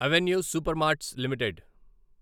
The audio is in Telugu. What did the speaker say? avenue Supermarts limited